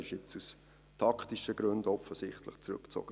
Er wurde jetzt offensichtlich aus taktischen Gründen zurückgezogen.